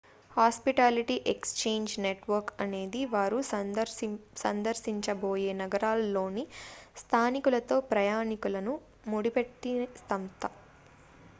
hospitality exchange network అనేది వారు సందర్శించబోయే నగరాల్లోని స్థానికులతో ప్రయాణికులను ముడిపెట్టే సంస్థ